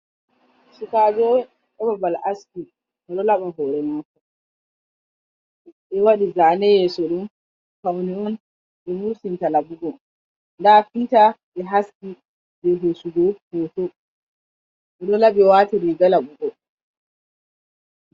Su kajo aba bal aski ta lo laba hore nafowadi zaneye surun fauniyun ji mursin talagu00 dafinta be haski be hsugo hoto ro labe wata riga labogo,